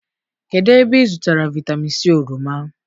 kedụ ebe ị zụtara vitamin c oroma?